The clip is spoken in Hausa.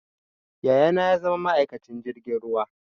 Yaya na ya zama ma'aikacin jirgin ruwa